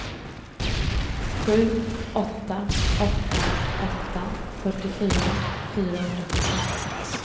sju åtta åtta åtta fyrtiofyra fyrahundrasjuttioåtta